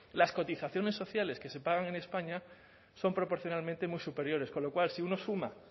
las cotizaciones sociales que se pagan en españa son proporcionalmente muy superiores con lo cual si uno suma